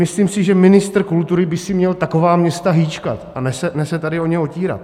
Myslím si, že ministr kultury by si měl taková města hýčkat, a ne se tady o ně otírat.